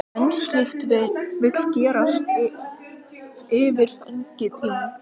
En slíkt vill gerast yfir fengitímann.